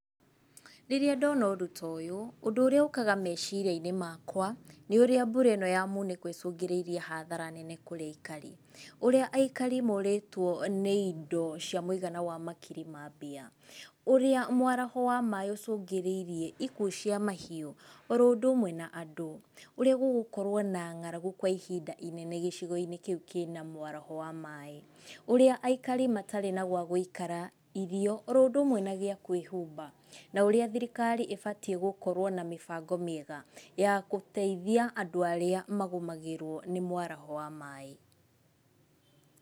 Rĩrĩa ndona ũndũ ta ũyũ, ũndũ urĩa ũkaga meciria-inĩ makwa, nĩ ũrĩa mbura ĩno ya munĩko ĩcũngĩrĩirie hathara nene kũrĩ aikari. Ũrĩa aikari morĩtwo nĩ ĩndo cia mũigana wa makiri ma mbia. Ũrĩa mwaraho wa maaĩ ũcũngĩrĩirie ikuo cia mahiu o ro ũndũ ũmwe na andũ. Ũrĩa gũgũkorwo na ng'aragu kwa ihinda inene gĩcigo-inĩ kĩu kĩna mwaraho wa maaĩ. Ũrĩa aikari matarĩ na gwa gũikara, irio oro ũndũ ũmwe na gĩa kwĩhumba. Na ũrĩa thirikari ĩbatie gũkorwo na mĩbango mĩega ya gũteithia andũ arĩa magũmagĩrwo nĩ mwaraho wa maaĩ.